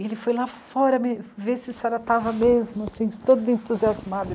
E ele foi lá fora ver se a senhora estava mesmo, assim, todo entusiasmado.